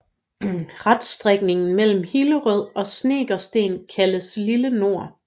Reststrækningen mellem Hillerød og Snekkersten kaldes Lille Nord